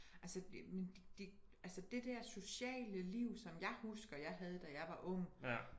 Altså men det dér sociale liv som jeg husker jeg havde da jeg var ung